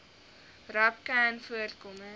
rapcanvoorkoming